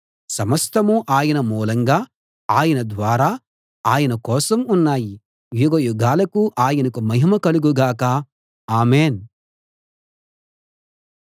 సమస్తమూ ఆయన మూలంగా ఆయన ద్వారా ఆయన కోసం ఉన్నాయి యుగయుగాలకు ఆయనకు మహిమ కలుగు గాక ఆమేన్‌